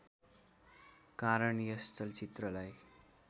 कारण यस चलचित्रलाई